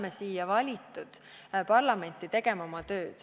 Me oleme valitud siia parlamenti tegema oma tööd.